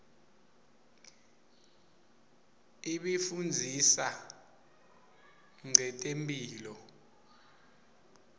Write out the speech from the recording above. ibifundzisa nqetemphilo